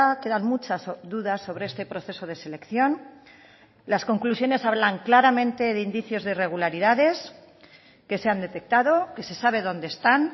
quedan muchas dudas sobre este proceso de selección las conclusiones hablan claramente de indicios de irregularidades que se han detectado que se sabe dónde están